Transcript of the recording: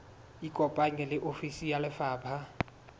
ikopanye le ofisi ya lefapha